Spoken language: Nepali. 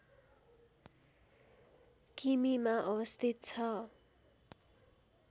किमीमा अवस्थित छ